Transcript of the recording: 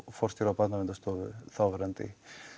forstjóra Barnaverndarstofu þáverandi